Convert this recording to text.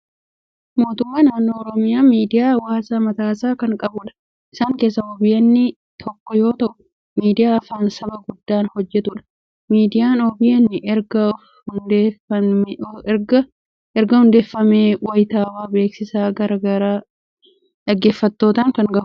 Mootummaan naannoo Oromiyaa miidiyaa hawaasaa mataasaa kan qabudha. Isaan keessaa OBN tokko yoo ta'u, miidiyaa afaan saba guddaan hojjetudha. Miidiyaan OBN ergaa fi odeeffannoo wayitaawwaa, beeksisa gara garaa dhaggeeffattootaan kan gahudha.